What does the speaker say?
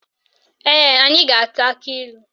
Ee, anyị ga-ata akilu.